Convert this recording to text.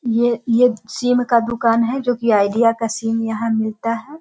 ये-ये सिम का दुकान है जो कि आइडिया का सिम यहाँ मिलता है।